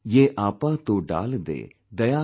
यहआपातोडालदे, दयाकरेसबकोय"